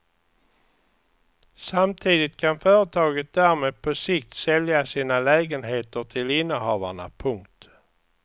Samtidigt kan företaget därmed på sikt sälja sina lägenheter till innehavarna. punkt